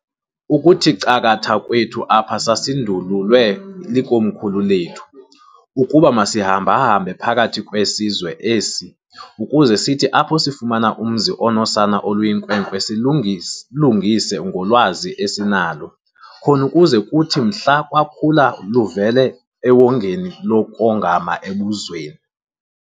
"Ukuthi cakatha kwethu apha sasindululwe likomkhulu lethu, ukuba masihamba-hambe phakathi kwesizwe esi, ukuze sithi apho sifumana umzi onosana oluyinkwenkwe silulungise ngolwazi esinalo, khon'ukuze kuthi mhla lwakhula luvelele ewongeni lokongama ebuzweni.